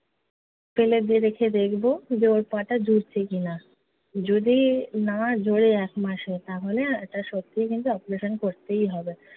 ফেলে দিয়ে রেখে দেখবো যে ওর পা টা জুড়ছে কি-না। যদি না জুড়ে এক মাসে তাহলে এটা সত্যিই কিন্তু operation করতে হবে।